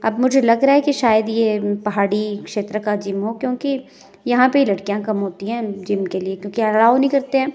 अब मुझे लग रहा है कि शायद यह पहाड़ी क्षेत्र का जिम हो क्योंकि यहां पर लड़कियां कम होती हैं जिम के लिए क्योंकि अलाओ नहीं करते हैं।